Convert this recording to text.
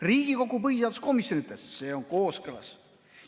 Riigikogu põhiseaduskomisjon ütles, et see on kooskõlas.